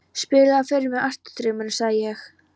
Spilaðu fyrr mig Ástardrauminn, sagði ég.